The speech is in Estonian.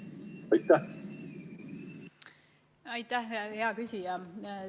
Aitäh, hea küsija!